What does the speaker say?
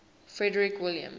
frederick william